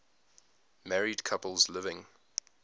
married couples living